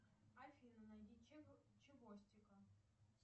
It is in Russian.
афина найди чевостика